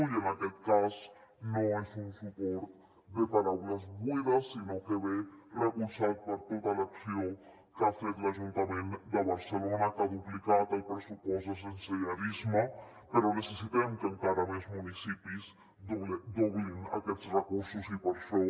i en aquest cas no és un suport de paraules buides sinó que ve recolzat per tota l’acció que ha fet l’ajuntament de barcelona que ha duplicat el pressupost de sensellarisme però necessitem que encara més municipis doblin aquests recursos i per això